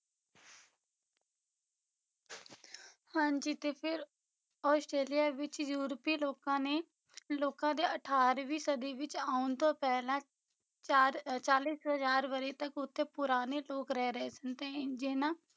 ਹਾਂਜੀ ਤੇ ਫਿਰ ਆਸਟ੍ਰੇਲੀਆ ਵਿੱਚ ਯੂਰਪੀ ਲੋਕਾਂ ਨੇ ਲੋਕਾਂ ਦੇ ਅਠਾਰਵੀਂ ਸਦੀ ਵਿੱਚ ਆਉਣ ਤੋਂ ਪਹਿਲਾ ਚਾਰ ਅਹ ਚਾਲੀਸ ਹਜ਼ਾਰ ਵਰ੍ਹੇ ਤੱਕ ਉਥੇ ਪੁਰਾਣੇ ਲੋਕ ਰਹਿ ਰਹੇ ਸਨ ਤੇ ਜਿੰਨਾ